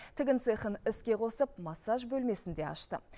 тігін цехын іске қосып массаж бөлмесін де ашты